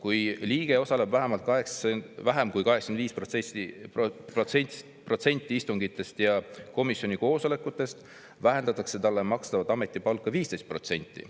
Kui liige osaleb vähem kui 85%-l istungitest ja komisjoni koosolekutest, vähendatakse talle makstavat ametipalka 15%.